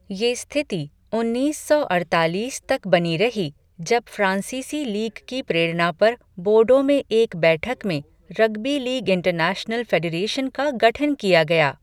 ये स्थिति उन्नीस सौ अड़तालीस तक बनी रही जब फ्राँसीसी लीग की प्रेरणा पर बोर्डो में एक बैठक में रग्बी लीग इंटरनैशनल फ़ेडरेशन का गठन किया गया।